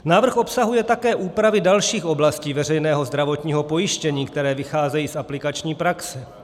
Návrh obsahuje také úpravy dalších oblastí veřejného zdravotního pojištění, které vycházejí z aplikační praxe.